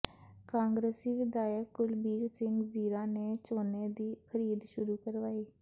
ਕਾਂਗਰਸੀ ਵਿਧਾਇਕ ਕੁਲਬੀਰ ਸਿੰਘ ਜ਼ੀਰਾ ਨੇ ਝੋਨੇ ਦੀ ਖ਼ਰੀਦ ਸ਼ੁਰੂ ਕਰਵਾਈ